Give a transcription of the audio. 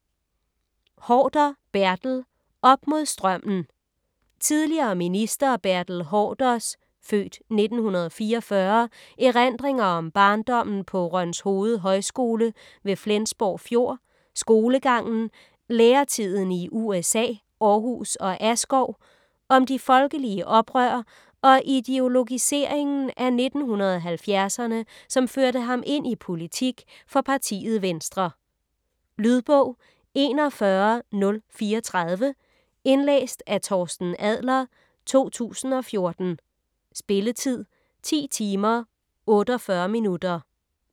Haarder, Bertel: Op mod strømmen Tidligere minister Bertel Haarders (f. 1944) erindringer om barndommen på Rønshoved Højskole ved Flensborg Fjord, skolegangen, læretiden i USA, Aarhus og Askov, om de folkelige oprør og ideologiseringen i 1970'erne som førte ham ind i politik for partiet Venstre. Lydbog 41034 Indlæst af Torsten Adler, 2014. Spilletid: 10 timer, 48 minutter.